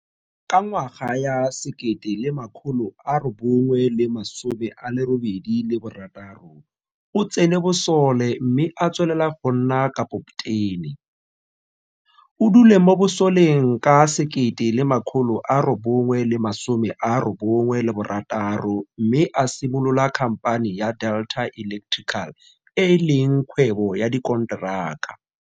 Ka ngwaga ya 1986 o tsene bosole mme a tswelela go nna kapoptene. O dule mo bosoleng ka 1996 mme a simolola khampane ya Delta Electrical e e leng kgwebo ya dikonteraka.